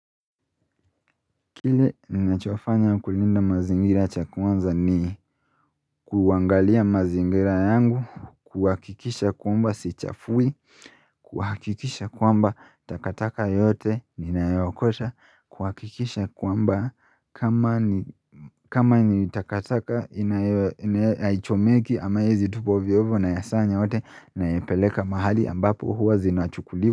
Kile ninachofanya kulinda mazingira cha kwanza ni kuangalia mazingira yangu kuhakikisha kwamba sichafui kuhakikisha kwamba takataka yote ninaiokota kuhakikisha kwamba kama ni kama ni takataka inayo haichomeki ama haiezi tupwa ovyo ovyo nayasanya yote nayapeleka mahali ambapo huwa zinachukuliwa.